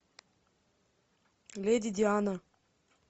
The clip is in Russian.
леди диана